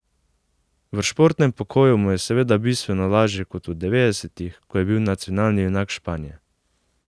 V športnem pokoju mu je seveda bistveno lažje kot v devetdesetih, ko je bil nacionalni junak Španije.